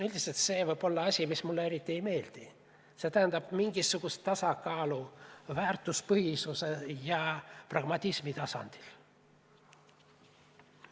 Üldiselt see võib olla asi, mis mulle eriti ei meeldi, see tähendab mingisugust tasakaalu väärtuspõhisuse ja pragmatismi tasandil.